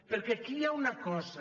perquè aquí hi ha una cosa